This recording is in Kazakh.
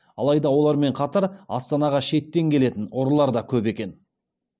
алайда олармен қатар астанға шеттен келетін ұрылар да көп екен